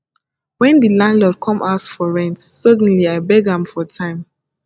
wen di landlord come ask for rent suddenly i beg am for time